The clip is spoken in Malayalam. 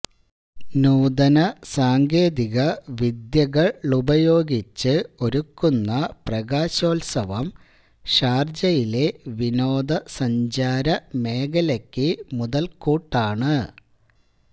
നൂതന സാങ്കേതികവിദ്യകളുപയോഗിച്ച് ഒരുക്കുന്ന പ്രകാശോത്സവം ഷാര്ജയിലെ വിനോദസഞ്ചാര മേഖലക്ക് മുതല്കൂട്ടാണ്